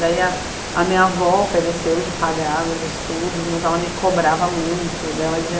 Daí a a minha avó ofereceu de pagar os estudos, mas ela me cobrava muito, daí ela dizia